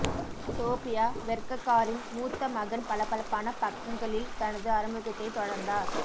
Sophia வெர்ககாரின் மூத்த மகன் பளபளப்பான பக்கங்களில் தனது அறிமுகத்தைத் தொடர்ந்தார்